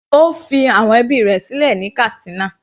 Ó fi àwọn ẹbí rẹ̀ sílẹ̀ ní Katsina.